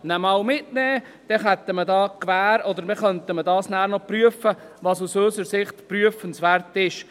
Dann hätte man die Gewähr oder könnte prüfen, was aus unserer Sicht noch prüfenswert ist.